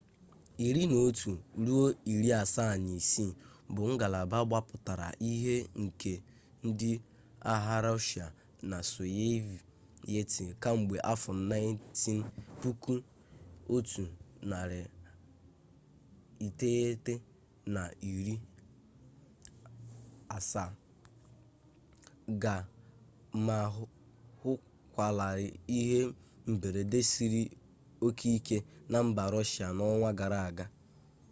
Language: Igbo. il-76 bụ ngalaba gbapụtara ihe nke ndị agha rọshịa na sọviyetị kamgbe afọ 1970 ga ma hụkwalarị ihe mberede siri oke ike na mba rọshịa n'ọnwa gara aga